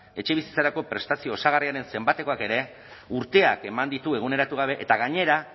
etxebizitzarako prestazio osagarriaren zenbatekoak ere urteak eman ditu eguneratu gabe eta gainera